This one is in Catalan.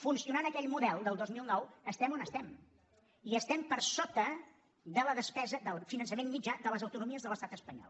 funcionant aquell model del dos mil nou estem on estem i estem per sota de la despesa del finançament mitjà de les autonomies de l’estat espanyol